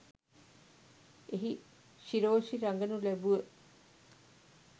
එහි ශිරෝෂි රගනු ලැබුව